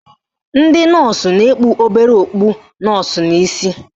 Ndị nọọsụ na-ekpu obere okpu nọọsụ n'isi